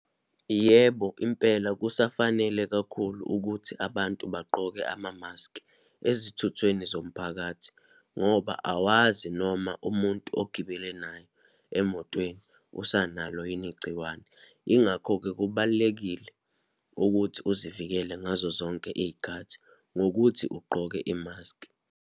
Yebo, impela kusafanele kakhulu ukuthi abantu bagqoke amamaski ezithuthweni zomphakathi, ngoba awazi noma umuntu ogibele naye emotweni, usanalo yini igciwane. Yingakho-ke kubalulekile ukuthi uzivikele ngazo zonke iyikhathi, ngokuthi ugqoke imaskhi.